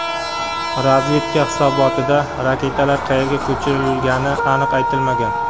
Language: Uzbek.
Razvedka hisobotida raketalar qayerga ko‘chirilgani aniq aytilmagan.